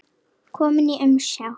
Kominn í umsjá